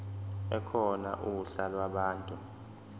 ekhona uhla lwabantu